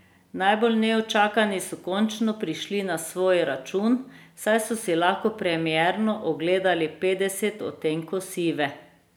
Najbolj neučakani so končno prišli na svoj račun, saj so si lahko premierno ogledali Petdeset odtenkov sive.